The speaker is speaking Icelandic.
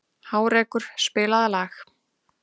Hárekur, spilaðu lag.